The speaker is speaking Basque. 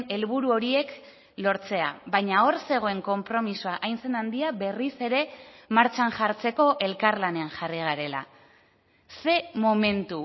helburu horiek lortzea baina hor zegoen konpromisoa hain zen handia berriz ere martxan jartzeko elkarlanean jarri garela ze momentu